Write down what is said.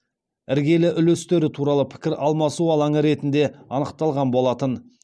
іргелі үлестері туралы пікір алмасу алаңы ретінде анықталған болатын